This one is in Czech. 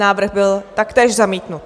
Návrh byl taktéž zamítnut.